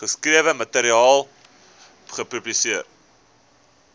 geskrewe materiaal publiseer